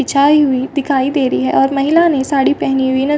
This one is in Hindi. बिचाई हुई दिखाई दे रही है और महिला ने साड़ी पहनी हुई।